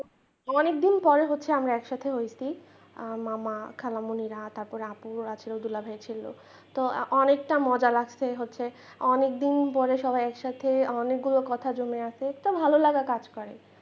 অনেকদিন পরে হচ্ছে আমরা একসাথে হইছি মামা খালামণিরা তারপরে আপু আছে দুলাভাই ছিল তো অনেকটা মজা লাগছে হচ্ছে অনেকদিন পরে সবাই একসাথে অনেকগুলো কথা জমে আছে তো ভালোলাগা কাজ করে।